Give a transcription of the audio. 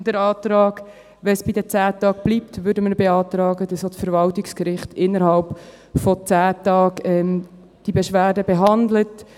Wenn es bei den 10 Tagen bleibt, würden wir beantragen, dass auch das Verwaltungsgericht diese Beschwerde innerhalb von 10 Tagen behandelt.